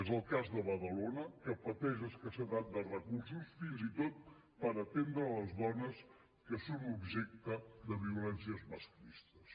és el cas de badalona que pateix escassetat de recursos fins i tot per atendre les dones que són objecte de violències masclistes